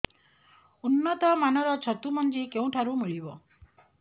ଉନ୍ନତ ମାନର ଛତୁ ମଞ୍ଜି କେଉଁ ଠାରୁ ମିଳିବ